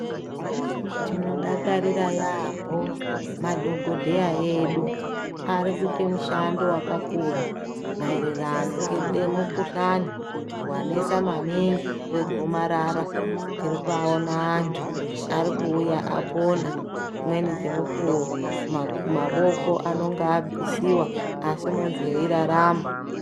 Tinodakarira yaampho madhogodheya edu ari kuite mushando wakakura maererano ngede mukhuhlani wanesa maningi wegomarara. Tiri kuvaona antu ari kuuya apona, dzimweni dzemukuwo maku mawoko anonga abvisiwa asi muntu weirarama.